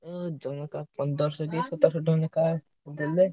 ହୁଁ ଜଣକା ପନ୍ଦରଶହ କି ସତରସହ ଟଙ୍କା ଲେଖା ହେଲେ।